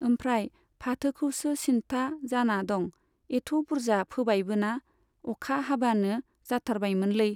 ओमफ्राय फाथोखौसो सिन्ता जाना दं, एथ' बुरजा फोबायबोना, अखा हाबानो जाथारबायमोनलै।